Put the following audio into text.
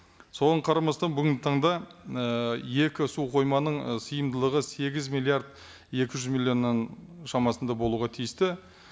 соған қарамастан бүгінгі таңда і екі су қойманың і сиымдылығы сегіз миллиард екі жүз миллионның шамасында болуға тиісті